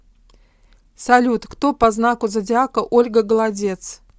салют кто по знаку зодиака ольга голодец